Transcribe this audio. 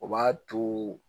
O b'a to